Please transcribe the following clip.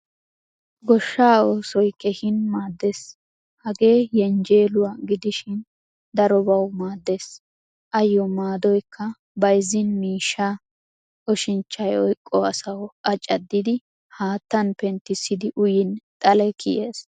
Gooshshaa oosoy keehin maadees. Hagee yenjjeluwaa gidishin darobawu maadees. Ayo maadoykka bayzzin miishshaa, ooshshinchchay oyqqo asawu a caddidi haattan penttisidi uyin xaale kiyees.